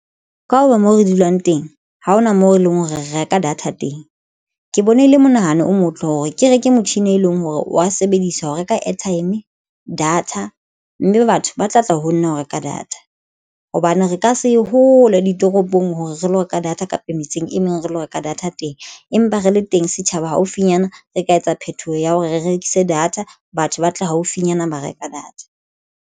Ka ho ba mo re dulang teng ha hona moo e leng hore re reka data teng ke bona e le monahano o motle hore ke reke motjhini e leng hore wa sebedisa ho reka airtime data mme batho ba tla tla ho nna ho reka data hobane re ka se hole ditoropong hore re lo reka data kapa metseng e meng re lo reka data teng, empa re le teng setjhaba haufinyana re ka etsa phethoho ya hore re rekise data. Batho ba tla haufinyana ba reka data.